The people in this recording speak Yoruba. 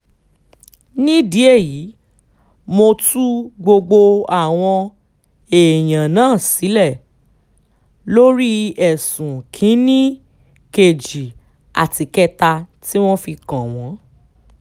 nídìí èyí mo tú gbogbo àwọn èèyàn náà sílẹ̀ lórí ẹ̀sùn kìn-ín-ní èkejì àti ìkẹta tí wọ́n fi kàn wọ́n